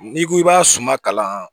N'i ko i b'a suma kalan